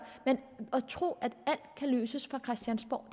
men at tro at alt kan løses fra christiansborg